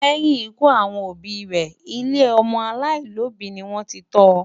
Lẹ́yìn ikú àwọn òbí rẹ̀, ilé ọmọ aláìlóbìí ni wọ́n ti tọ́ ọ.